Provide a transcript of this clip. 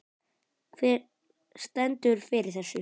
Hver stendur fyrir þessu?